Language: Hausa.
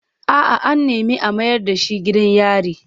A'a, an nemi a mayar da shi gidan yari.